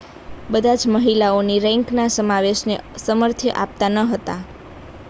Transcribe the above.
બધા જ મહિલાઓની રેન્કના સમાવેશને સમર્થન આપતા ન હતા